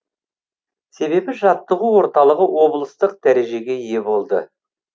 себебі жаттығу орталығы облыстық дәрежеге ие болды